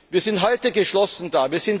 Hughes. Wir sind heute geschlossen